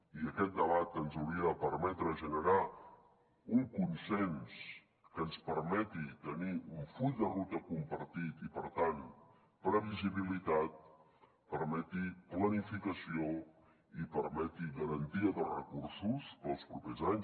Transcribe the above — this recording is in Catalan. i aquest debat ens hauria de permetre generar un consens que ens permeti tenir un full de ruta compartit i per tant previsibilitat permeti planificació i permeti garantia de recursos per als propers anys